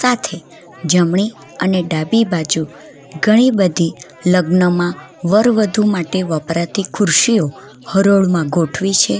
આથી જમણી અને ડાબી બાજુ ઘણી બધી લગ્નમાં વર વધુ માટે વપરાતી ખુરશીઓ હરોળમાં ગોઠવી છે.